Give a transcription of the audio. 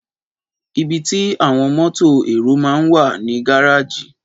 Ìbítì àwon mótò ẹrò mà ń wà ní gàrájì